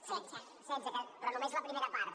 setze però només la primera part